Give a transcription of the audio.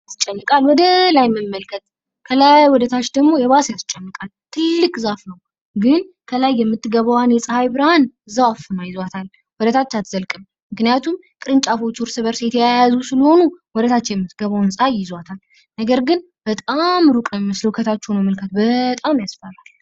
ያስጨንቃ ከላይ ወደታች መመልከት ከታች ወደላይም ማየት። ግን ፀሐይ ብርሃን ስትወጣ ያሳያል። እጅግ በጣም ትልቅ የሆነ እና በጣም የሚያስፈራ ዛፍ ነው።